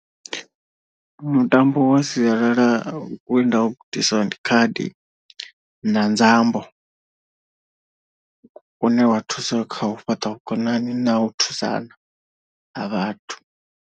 Mutambo wa sialala we nda u gudisiwa ndi khadi na nzambo une wa thusa kha u fhaṱa vhukonani na u thusana ha vhathu.